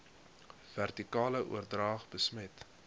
vertikale oordrag besmet